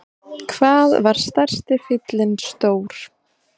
Hvað var stærsti fíllinn stór?